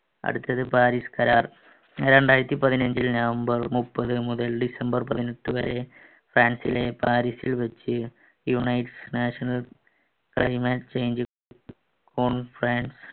അടുത്തത് പാരിസ് കരാർ രണ്ടായിരത്തി പതിനഞ്ചു നവംബർ മുപ്പത് മുതൽ ഡിസംബർ പതിനെട്ട് വരെ ഫ്രാൻസിലെ പാരിസിൽ വെച്ച് unite national climate change conference